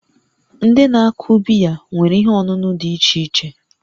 Ndị na-akụ biya nwere ihe ọṅụṅụ dị iche iche